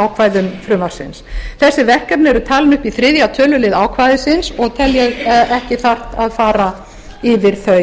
ákvæðum frumvarpsins þessi verkefni eru talin upp í þriðja tölulið ákvæðisins og tel ég ekki þarft að fara yfir þau